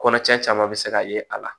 Kɔnɔcɛn caman bɛ se ka ye a la